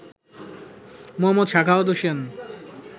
Md. Sakhawat Hossain